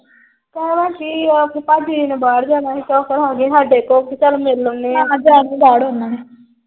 ਕਹਿਣਾ ਕੀ ਆ। ਪਾਜੀ ਨੇ ਬਾਹਰ ਜਾਣਾ ਸੀ ਤਾ ਫੇਰ ਉਹ ਆ ਗਏ ਸਾਡੇ। ਉਹ ਚੱਲ ਮਿਲ ਆਉਂਦੇ ਆ।